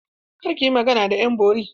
Kar ki yi magana da ƴan bori!